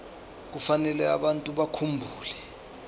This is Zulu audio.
kufanele abantu bakhumbule